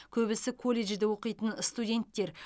көбісі колледжде оқитын студенттер